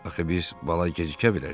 Axı biz bala gecikə bilərik.